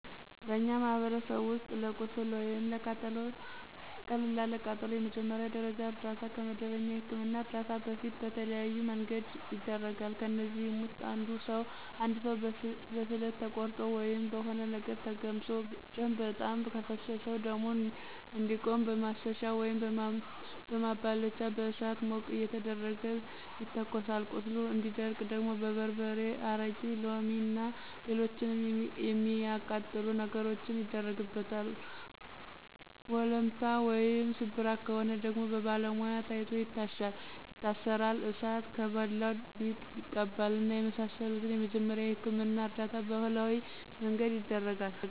በእኛ ማህበረሰብ ውስጥ ለቁስል ወይም ለቀላል ቃጠሎ የመጀመሪያ ደረጃ እርዳታ ከመደበኛ የህክምና እርዳታ በፊት በተለያዬ መንገድ ይደረጋል። ከእነዚህም ውስጥ እንድ ሰው በስለት ተቆርጦ ወይም በሆነ ነገር ተገምሶ ደም በጣም ከፈሰሰው ደሙ እንዲቆም በማሰሻ ወይም በማባለቻ በእሳት ሞቅ እየተደረገ ይተኮሳል ቁስሉ እንዲደርቅ ደግሞ በርበሬ፣ አረቂ፣ ሎሚ እና ሎሎችንም የሚአቃጥሉ ነገሮችን ይደረግበታል፣ ወለምታ ወይም ስብራት ከሆነ ደግሞ በባለሙያ ታይቶ ይታሻል ይታሰራል፣ እሳት ከበላው ሊጥ ይቀባል እና የመሳሰሉትን የመጀመሪያ የህክምና እርዳታ በባህላዊ መንገድ ይደረጋል።